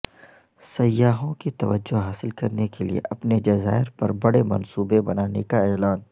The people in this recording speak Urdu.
سیاحوں کی توجہ حاصل کرنے کے لیے اپنے جزائر پر بڑے منصوبے بنانے کا اعلان